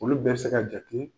Olu bɛɛ bɛ se ka jate